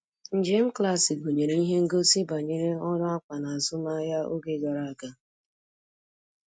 Njem klaasị gụnyere ihe ngosi banyere ọrụ akwa n'azụmahịa oge gara aga.